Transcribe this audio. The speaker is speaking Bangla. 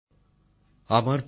নতুনদিল্লি ২৮শে মে ২০২৩